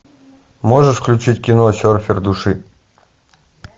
можешь включить кино серфер души